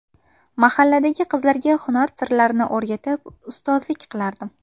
Mahalladagi qizlarga hunar sirlarini o‘rgatib, ustozlik qilardim.